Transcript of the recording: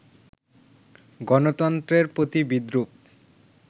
গণতন্ত্রের প্রতি বিদ্রুপ